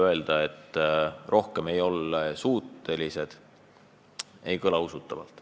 Öelda, et rohkemaks me ei ole suutelised – ei kõla usutavalt.